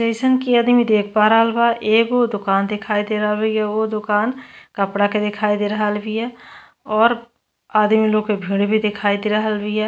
जइसन की अदमी देख पा रहल बा एगो दोकान देखाई दे रहल बा। एगो दोकान कपड़ा के देखाई दे रहल बिया और आदमी लो के भीड़ भी दिखाई दे रहल बिया।